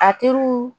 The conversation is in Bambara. A teriw